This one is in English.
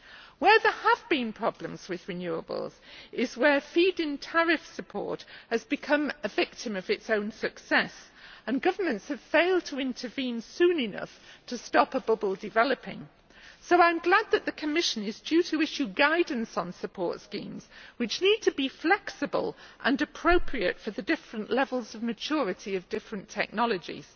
Where there have been problems with renewables is where feed in tariff support has become a victim of its own success and governments have failed to intervene soon enough to stop a bubble developing. So I am glad that the Commission is due to issue guidance on support schemes, which need to be flexible and appropriate for the different levels of maturity of different technologies.